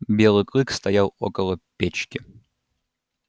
белый клык стоял около печки